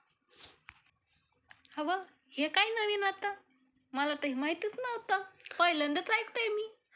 अव, हे काय नवीन आता? मला तर हे माहितच नव्हत. पहिल्यांदाच ऐकतेय मी हे